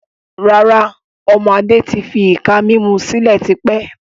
Rárá, ọmọ Adé tí fi ìka mímú sílẹ̀ tí pẹ́.